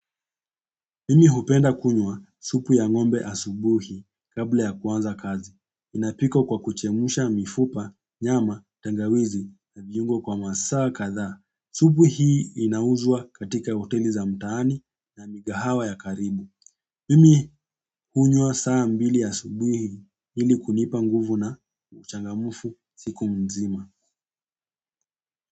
Mimi hupenda kunywa supu ya ng'ombe asubuhi kabla ya kuanza kazi. Inapikwa kwa kuchemsha mifupa, nyama, tangawizi na viungo kwa masaa kadhaa. Supu hii inauzwa katika hoteli za mtaani na mikahawa ya karibu. Mimi hunywa saa mbili asubuhi ili kunipa nguvu na uchangamfu siku nzima.